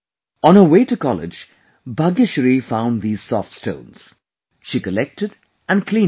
On her way to college, Bhagyashree found these Soft Stones, she collected and cleaned them